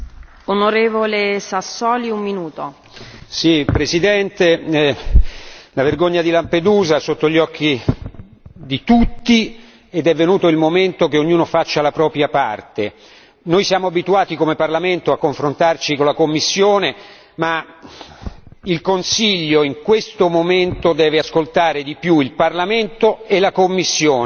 Signora Presidente, onorevoli colleghi, la vergogna di Lampedusa è sotto gli occhi di tutti ed è venuto il momento che ognuno faccia la propria parte. Noi siamo abituati come Parlamento a confrontarci con la Commissione, ma il Consiglio in questo momento deve ascoltare di più il Parlamento e la Commissione